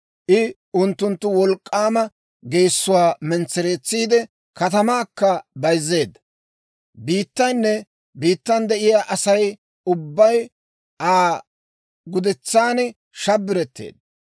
I unttunttu wolk'k'aama geessuwaa mentsereetsiide, katamaakka bayzzeedda. Biittaynne biittan de'iyaa Asay ubbay, Aa gudetsan shabbiretteedda.